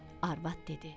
Arvad dedi: